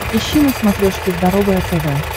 ищи на смотрешке здоровое тв